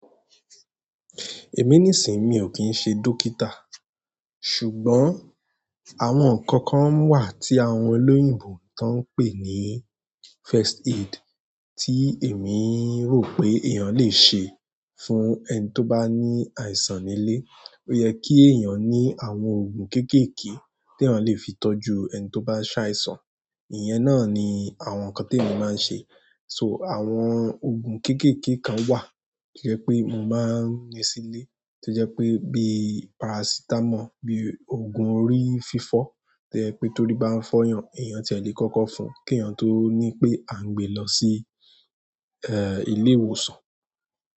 Èmi nísìí mi ò kín ṣe dókítà, ṣùgbọ́n àwọn ǹnkan kan wà tí àwọn olóyìnbo tó ń pè ní first aid tí èmi ń rò pé èèyàn lè ṣe fún ẹni tó bá ní àìsàn nílé. Ó yẹ kí èèyàn ní àwọn òògùn kéékèèké tí èèyàn lè fi tọ́jú ẹni tó bá ṣàìsàn. Ìyẹn náà ni àwọn ǹkan tí èmi máa ń ṣe. So àwọn òògùn kéékèèké kan wà tó jẹ́ pé mo máa ń ní sílé tó jẹ́ pé bíi parasítámọ̀, bíi òògùn orí fífọ́ tó jẹ́ pé torí bá ń fọ́yàn èèyàn ti ẹ lè kọ́kọ́ fún kí èèyàn tó ní pé à ń gbé lọ sí, ilé ìwòsàn.